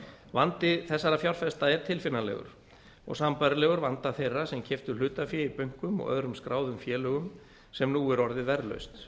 vandi þessara fjárfesta er tilfinnanlegur og sambærilegur vanda þeirra sem keyptu hlutafé í bönkum og öðrum skráðum félögum sem nú er orðið verðlaust